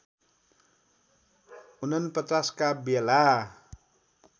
४९ का बेला